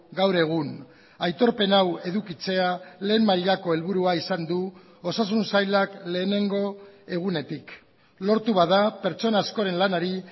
gaur egun aitorpen hau edukitzea lehen mailako helburua izan du osasun sailak lehenengo egunetik lortu bada pertsona askoren lanari